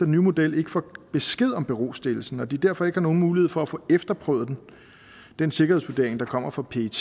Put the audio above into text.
nye model ikke får besked om berostillelsen og at de derfor ikke har nogen mulighed for at få efterprøvet den sikkerhedsvurdering der kommer fra pet